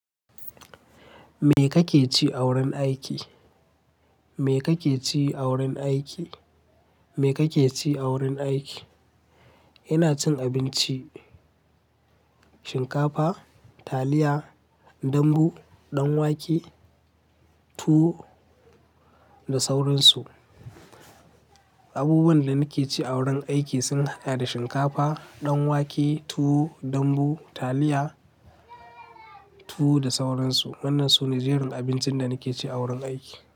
Me kake ci a wurin aiki? Me kake ci a wurin aiki? Me kake ci a wurin aiki? Ina cin abinci, shinkafa, taliya, dambu, ɗan wake, tuwo da sauransu. Abubuwan da nake ci a wurin aiki sun haɗa da shinkafa, ɗan wake, tuwo, dambu, taliya, tuwo da sauransu. Wannansu ne jerin abincin da nake ci a wurin aiki.